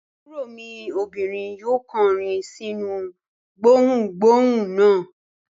Àbúrò mi obìnrin yóò kọrin sínú gbohùngbohùn náà.